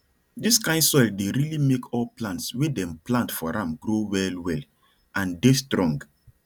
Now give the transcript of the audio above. dis kain soil dey really make all plants wey dem plant for am grow well well and dey strong